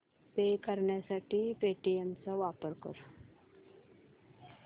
पे करण्यासाठी पेटीएम चा वापर कर